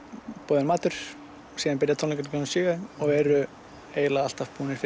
boðinn matur síðan byrja tónleikar klukkan sjö og eru alltaf búnir